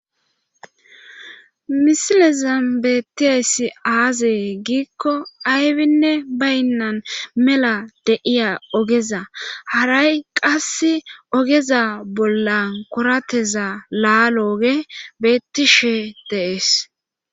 Misilezam beettiheessi aazee giikko aybinne baynnan mela deiya ogeza haray qas ogeza bolla korateza laalo oge beettishe deees.